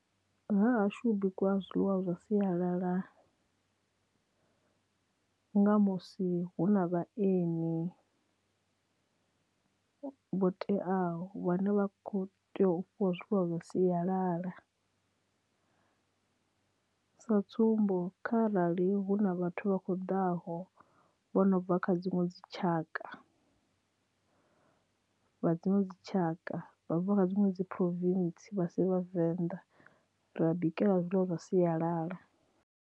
Hahashu hu bikiwa zwiḽiwa zwa siyalala nga musi hu na vhaeni vho teaho vhane vha kho tea u fhiwa zwiḽiwa zwa siyalala sa tsumbo kha arali hu na vhathu vha kho ḓaho vho no bva kha dziṅwe dzi tshaka vha dziṅwe dzitshaka vha bva kha dziṅwe dzi province vha si vhavenḓa ra bikela zwiḽiwa zwa siyalala.